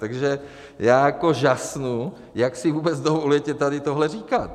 Takže já jako žasnu, jak si vůbec dovolujete tady tohle říkat.